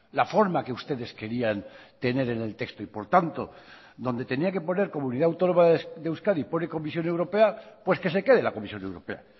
la forma que ustedes querían tener en el texto y por tanto donde tenía que poner comunidad autónoma de euskadi pone comisión europea pues que se quede la comisión europea